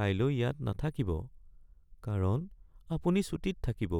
কাইলৈ ইয়াত নাথাকিব কাৰণ আপুনি ছুটীত থাকিব।